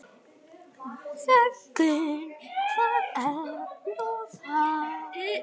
Þöggun, hvað er nú það?